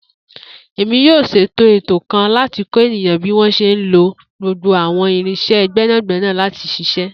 Emi yoo ṣeto eto kan lati kọ eniyan bi wọn ṣe le lo gbogbo awọn irinṣẹ gbẹnagbẹna lati ṣiṣẹ.